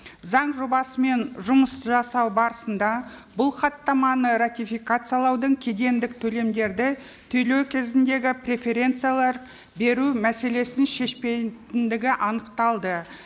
заң жобасымен жұмыс жасау барысында бұл хаттаманы ратификациялаудың кедендік төлемдерді төлеу кезіндегі преференциялар беру мәселесін шешпейтіндігі анықталды